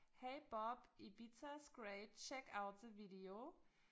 Hey Bob Ibiza is great check out the video